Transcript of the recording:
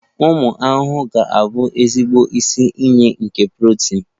Ụmụ ahụhụ ga-abụ ezigbo isi iyi nke protini.